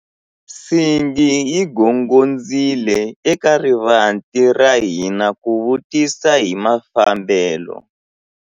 Nsingi yi gongondzile eka rivanti ra hina ku vutisa hi mafambelo.